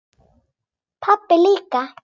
Pabbi líka.